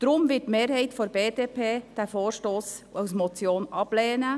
Deshalb wird die Mehrheit der BDP diesen Vorstoss als Motion ablehnen.